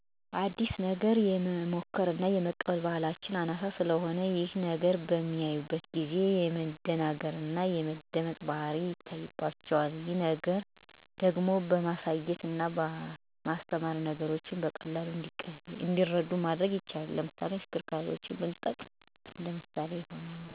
አዲስ ነገር የመሞከር እና የመቀበል ባህላችን አናሳ ስለሆነ ይሄን ነገር በሚያዩ ጊዜ የመደናገር እና የመደንገጥ ባህሪ ይታይባቸዋል። ነገርግን ደጋግሞ በማሳየት እና በማስተማር ነገሮችን በቀላሉ እንዲረዱ ማድረግ ይቻላል። ለምሳሌ ተሽከርካሪዎችን ራሳችን መጀመርያ ተጠቅመን ማሳየት እና እነሱም እንዲሞክሩት መገፋፋት አለብን። ከዚህ በተጨማሪ ስለ መሳሪያዎቹ ጥቅም እና አገልግሎት ማስረዳት ይኖርብናል። ይሄን ማድረግ ከቻልን ማህበረሰቡ ነገሮችን በሂደት እንዲቀበሉን ማድረግ ያስችለናል።